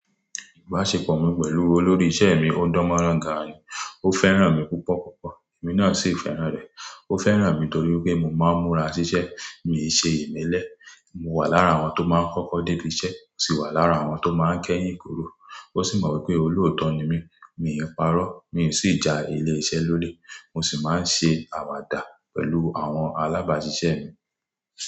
Ìbáṣepọ̀ mi pẹ̀lú olórí iṣẹ́ mi ò dánmọ́rán ga ni. Ó fẹ́ràn mi púpọ̀ púpọ̀, èmi náà sì fẹ́ràn rẹ̀. Ó fẹ́ràn mi torí pé mo máa ń múra ṣiṣẹ́, mi ò ṣe ìmelẹ̀, mo wà lára àwọn tó máa ń kọ́kọ́ dé ibi iṣẹ́, sì wà lára àwọn tó máa ń kẹ́yìn kúrò. Ó sì mọ̀ pé olóòótọ́ ni mí, mi ò parọ́, mi ò sì ja ilé iṣẹ́ lólè. Mo sì máa ń ṣe àwàdà pẹ̀lú àwọn alábáṣiṣẹ́ mi.